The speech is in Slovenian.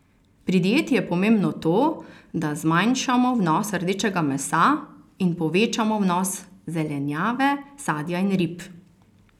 Pri dieti je pomembno to, da zmanjšamo vnos rdečega mesa in povečamo vnos zelenjave, sadja in rib.